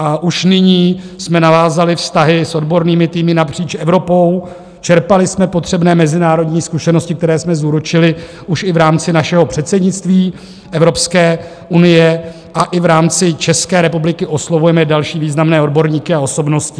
A už nyní jsme navázali vztahy s odbornými týmy napříč Evropou, čerpali jsme potřebné mezinárodní zkušenosti, které jsme zúročili už i v rámci našeho předsednictví Evropské unie, a i v rámci České republiky oslovujeme další významné odborníky a osobnosti.